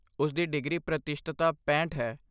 ਉਸਦੀ ਡਿਗਰੀ ਪ੍ਰਤੀਸ਼ਤਤਾ ਪੈਂਹਠ ਹੈ